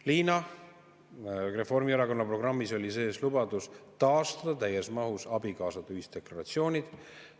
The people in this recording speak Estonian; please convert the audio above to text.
Liina, Reformierakonna programmis oli sees lubadus taastada täies mahus abikaasade ühisdeklaratsioonid.